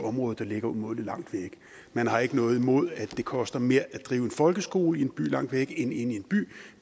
område der ligger umådelig langt væk man har ikke noget imod at det koster mere at drive en folkeskole i en by langt væk end inde i en by